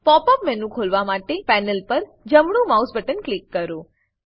pop up menu ખોલવા માટે panel પર જમણું માઉસ બટન ક્લિક કરો